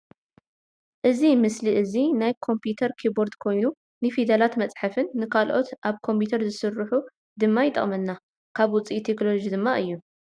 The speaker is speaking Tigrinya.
እዚ ምስሊ እዚ ናይ ኮምፒተር ኪፖርድ ኮይኑ ንፍደላት መፀሓፊን ንካልኦት ኣብ ኮምፒተር ዝስርሑ ድማ ይጠቅመና ካብ ውፅኢት ቴክኖለጂ ድማ እዩ።